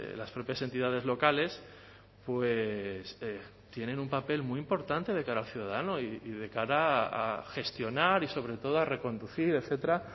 las propias entidades locales tienen un papel muy importante de cara al ciudadano y de cara a gestionar y sobre todo a reconducir etcétera